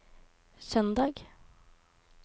søndag